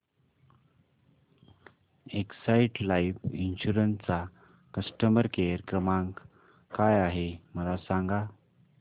Exide life insurance चा customer care क्रमांक काय आहे मला सांगा